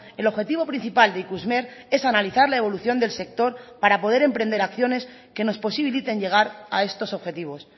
el objetivo principal de ikusmer es analizar la evolución del sector para poder emprender acciones que nos posibiliten llegar a estos objetivos